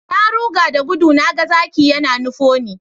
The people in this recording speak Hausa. Na ruga da gudu na ga zaki yana nufo ni